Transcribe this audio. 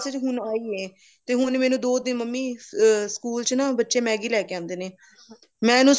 ਹੁਣ ਹੋਈ ਏ ਤੇ ਹੁਣ ਦੋ ਦਿਨ ਮੰਮੀ school ਚ ਨਾ ਬੱਚੇ Maggie ਲੈਕੇ ਆਂਦੇ ਨੇ ਮੈਂ ਇਹਨੂੰ